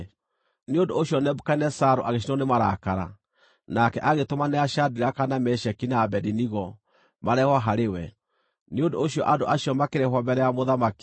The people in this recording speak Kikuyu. Nĩ ũndũ ũcio Nebukadinezaru agĩcinwo nĩ marakara, nake agĩtũmanĩra Shadiraka, na Meshaki, na Abedinego mareehwo harĩ we. Nĩ ũndũ ũcio andũ acio makĩreehwo mbere ya mũthamaki,